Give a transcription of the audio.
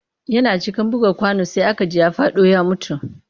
Yana cikin buga kwano sai aka ji ya faɗo ya mutu